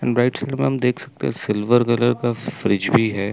देख सकते है सिल्वर कलर का फ्रिज भी है।